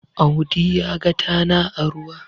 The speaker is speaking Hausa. Audi ya ga tana a ruwa